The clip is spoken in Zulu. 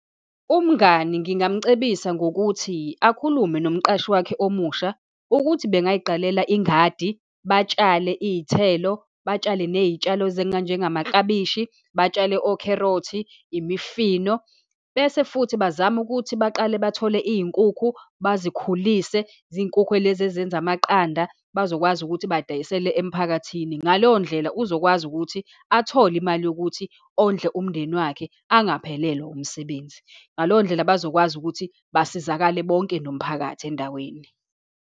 Umngani ngingamcebisa ngokuthi, akhulume nomqashi wakhe omusha, ukuthi bangayiqalela ingadi, batshale iy'thelo, batshale ney'tshalo njengamaklabishi, batshale okherothi, imifino, bese futhi bazame ukuthi baqale bathole iy'nkukhu, bazikhulisele, zinkukhu lezi ezenza amaqanda, bazokwazi ukuthi badayisele emphakathini. Ngaleyo ndlela uzokwazi ukuthi athole imali yokuthi ondle umndeni wakhe, angaphelelwa umsebenzi. Ngaleyo ndlela bazokwazi ukuthi basizakale bonke nomphakathi endaweni.